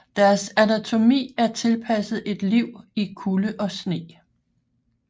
Deres anatomi er tilpasset et liv i kulde og sne